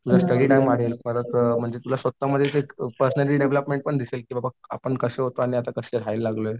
तुझा परत तुला स्वतःमध्येच एक पर्सनॅलिटी डेव्हलपमेंट पण दिसेल की बाबा आपण कसं होतो आणि आता कसं राहायला लागलोय.